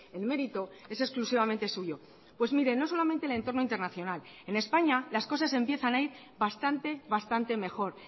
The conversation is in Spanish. el mérito es exclusivamente suyo pues mire no solamente el entorno internacional en españa las cosas empiezan a ir bastante bastante mejor